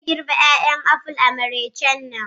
Zai girbe 'ya'yan apples a maraicen nan.